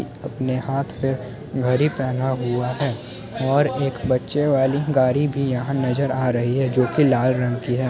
अपने हाथ पे घड़ी पहेना हुआ है और एक बच्चे वाली गाड़ी भी यहा नजर आ रही है जो की लाल रंग की है ।